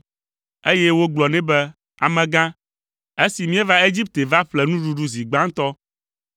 eye wogblɔ nɛ be, “Amegã, esi míeva Egipte va ƒle nuɖuɖu zi gbãtɔ,